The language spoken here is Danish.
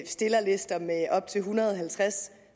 stillerlister med op til en hundrede og halvtreds